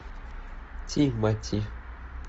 тимати